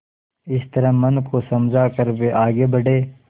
इस तरह मन को समझा कर वे आगे बढ़े